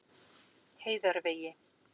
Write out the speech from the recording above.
Heiðarvegi